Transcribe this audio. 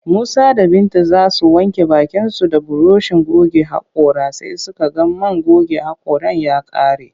Musa da Binta za su wanke bakinsu da burushin goge haƙora sai suka ga man goge haƙoran ya ƙare